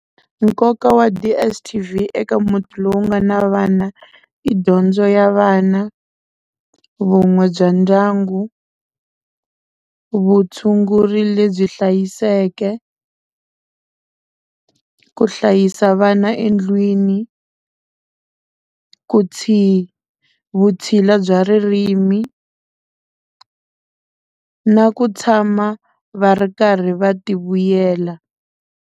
Nkoka wa DSTV eka muti lowu nga na vana i dyondzo ya vana vun'we bya ndyangu vutshunguri lebyi hlayiseke ku hlayisa vana endlwini ku vutshila bya ririmi na ku tshama va ri karhi va ti vuyela.